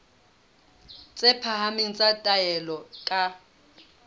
tse phahameng tsa taolo ka